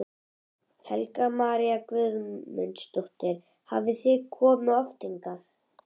Helga María Guðmundsdóttir: Hafið þið komið oft hingað?